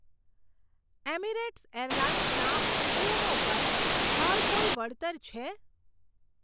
Emirates airlines ના ઉડ્ડયનો પર હાલ કોઈ વળતર છે?